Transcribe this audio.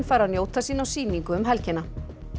fær að njóta sín á sýningu um helgina